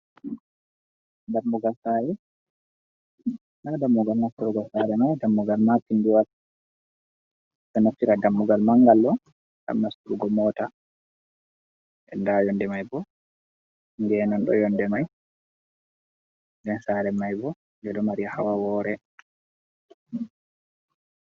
Dammugal Saare, ndaa dammugal nastugo saare man dammugal maapindiwal, ɗo nafira dammugal manngal manngal ngam nasturgo moota nden ndaa yonnde man boo geenon ɗo haa yonnde man nden saare man boo ɗo mari hawa woore